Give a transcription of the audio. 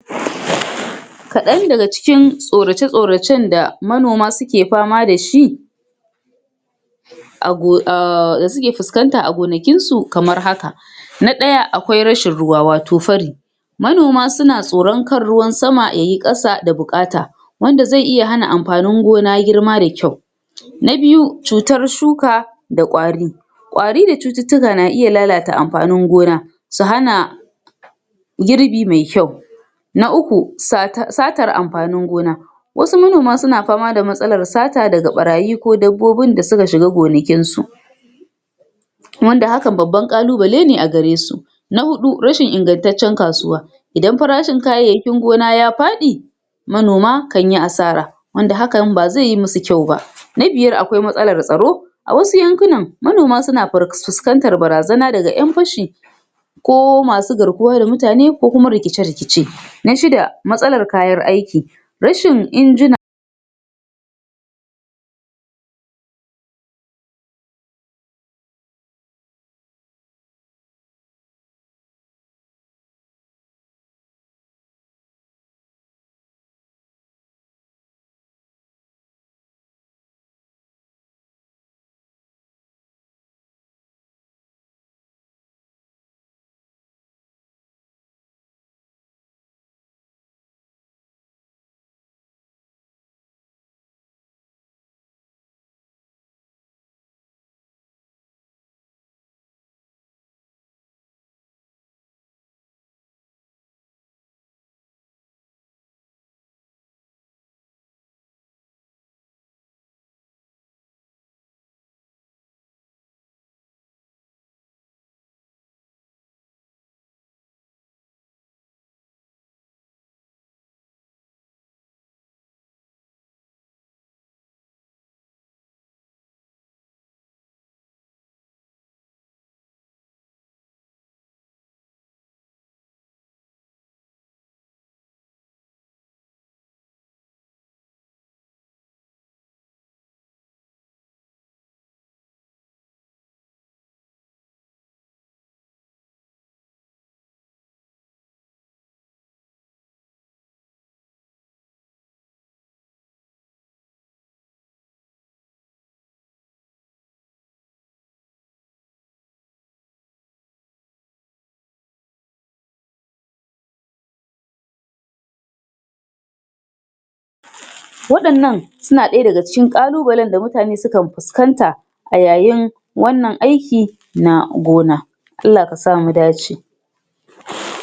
Kaɗan daga cikin tsorace-tsoracen da manoma suke fama da shi ah ah suke fuskanta a gonakin su, kamar haka na ɗaya, akwai rashin ruwa wato fari manoma suna tsoron kar ruwan sama yai ƙasa da buƙata wanda zai iya hana amfanin gona girma da kyau na biyu, cutar shuka da ƙwari ƙwari da cututtuka na iya lalata amfanin gona su hana girbi me kyau na uku, sata satar amfanin gona wasu manoma suna fama da matsalar sata daga ɓarayi ko dabbobin da suka shiga gonakin su wanda hakan babban ƙalubale ne a gare su na huɗu, rashin ingantacen kasuwa idan farashin kayayyakin gona ya faɗi manoma kan yi asara wanda hakan ba zai yi musu kyau ba. Na biyar, akwai matsalar tsaro a wasu yankunan manoma suna fuskantar barazana daga ƴan fashi ko masu garkuwa da mutane ko kuma rikice-rikice na shida, matsalar kayan aiki, rashin injina waɗannan suna ɗaya daga cikin ƙalubalen da mutane sukan fuskanta a yayin wannan aiki na gona Allah kasa mu dace.